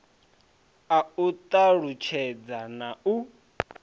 a u talutshedza na u